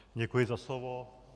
Děkuji za slovo.